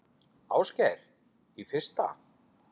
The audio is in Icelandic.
Ásgeir: Í fyrsta?